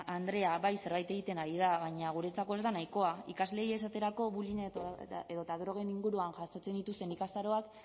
andrea bai zerbait egiten ari da baina guretzako ez da nahikoa ikasleei esaterako bullying edota drogen inguruan jasotzen dituzten ikastaroak